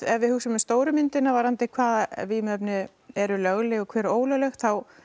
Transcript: ef við hugsum um stóru myndina varðandi hvaða vímuefni eru lögleg og hver eru ólögleg